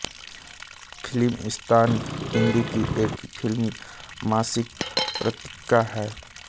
फिल्मिस्तान हिन्दी की एक फिल्मी मासिक पत्रिका है